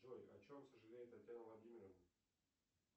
джой о чем сожалеет татьяна владимировна